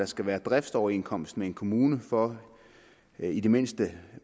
skal være driftsoverenskomst med en kommune for at i det mindste